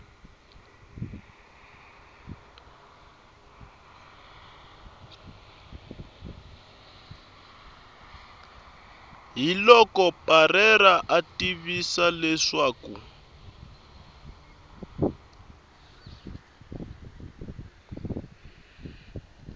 hiloko parreira a tivisa leswaku